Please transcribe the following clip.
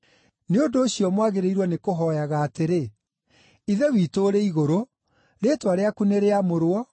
“Nĩ ũndũ ũcio mwagĩrĩirwo nĩkũhooyaga atĩrĩ: “ ‘Ithe witũ ũrĩ igũrũ, rĩĩtwa rĩaku nĩrĩamũrwo,